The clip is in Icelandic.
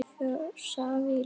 Kaffi og safi í lokin.